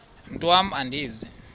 mntwan am andizi